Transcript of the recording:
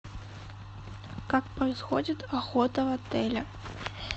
как происходит охота в отеле